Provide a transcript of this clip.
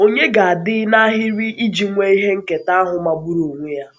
Ònye ga-adị n’ahịrị iji nwee ihe nketa ahụ magburu onwe ya?